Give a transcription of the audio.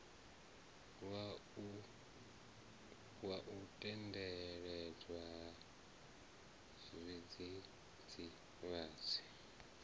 wa u endedzwa ha zwidzidzivhadzi